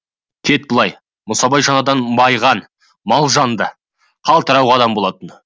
кеп былай мұсабай жаңадан байыған мал жанды қалтырауық адам болатын